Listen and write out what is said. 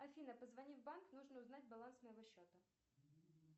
афина позвони в банк нужно узнать баланс моего счета